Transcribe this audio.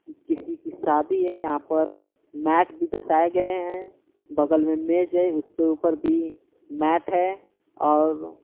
किसी की सादी है यहां पर मैट भी दसाए गए हैं बगल में मेज है उसके ऊपर भी मैट है और --